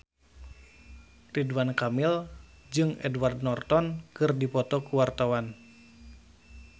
Ridwan Kamil jeung Edward Norton keur dipoto ku wartawan